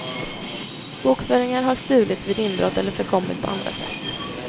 Bokföringar har stulits vid inbrott eller förkommit på andra sätt.